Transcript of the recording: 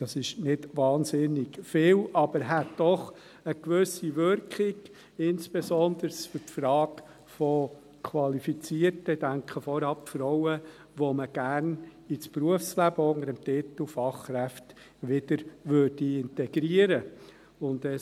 Das ist nicht wahnsinnig viel, aber es hätte doch eine gewisse Wirkung, insbesondere für die Frage von qualifizierten – ich denke, vornehmlich – Frauen, die man unter dem Titel Fachkräfte gerne wieder ins Berufsleben integrieren möchte.